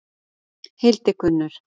Hildigunnur